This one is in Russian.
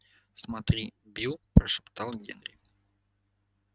смотри билл прошептал генри